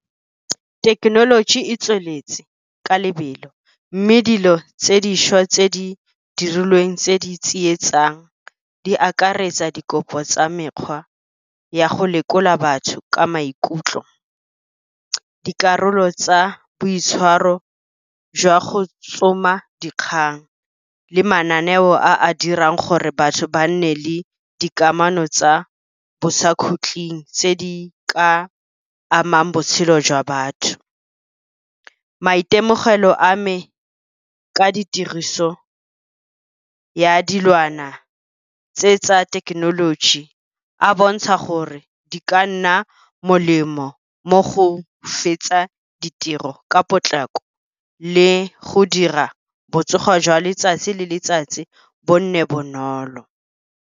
Thekenoloji e tsweletse ka lebelo mme dilo tse dišwa tse di dirilweng tse di tsietsang, di akaretsa dikopo tsa mekgwa ya go lekola batho ka maikutlo. Dikarolo tsa boitshwaro jwa go tsoma dikgang, le mananeo a a dirang gore batho ba nne le dikamano tsa bosakgutleng tse di ka amang botshelo jwa batho. Maitemogelo a me ka ditiriso ya dilwana tse tsa thekenoloji, a bontsha gore di ka di molemo mo go fetsa ditiro ka potlako, le go dira botsogo jwa letsatsi le letsatsi bo nne bonolo.